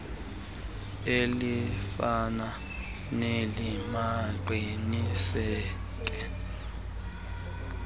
elifana neli baqiniseke